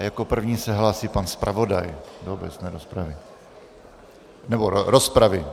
A jako první se hlásí pan zpravodaj do obecné rozpravy - nebo rozpravy.